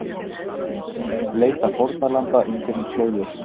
Leita fórnarlamba undir flóðljósum